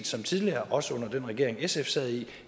som tidligere også under den regering som sf sad i